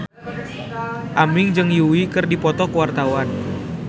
Aming jeung Yui keur dipoto ku wartawan